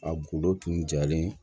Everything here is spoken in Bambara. A gundo tun jalen